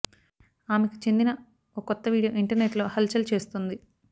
ఆమెకు చెందిన ఓ కొత్త వీడియో ఇంటర్నెట్లో హల్ చల్ చేస్తోంది